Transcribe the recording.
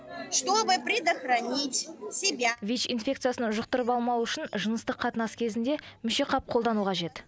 чтобы предохранить себя вич инфекциясын жұқтырып алмау үшін жыныстық қатынас кезінде мүшеқап қолдану қажет